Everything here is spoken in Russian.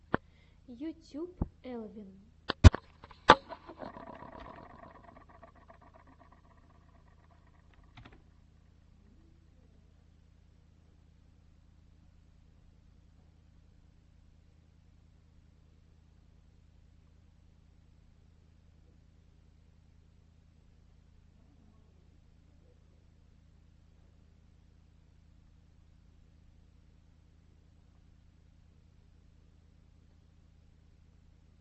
ютюб элвин